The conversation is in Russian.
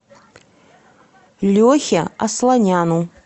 лехе асланяну